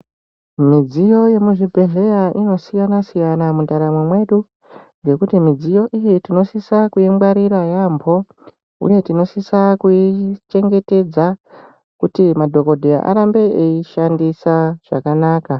Midziyo yemuzvibhedhlera inosiyana siyana mundaramo Mwedu ngekuti midziyo iyi tinosisa kuingwarira yambo uye tinosisa kuchengetedza kuti madhokodheya arambe eishandisa zvakanaka.